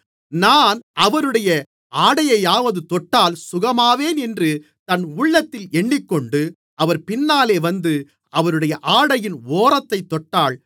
நான் அவருடைய ஆடையையாவது தொட்டால் சுகமாவேன் என்று தன் உள்ளத்தில் எண்ணிக்கொண்டு அவர் பின்னாலே வந்து அவருடைய ஆடையின் ஓரத்தைத் தொட்டாள்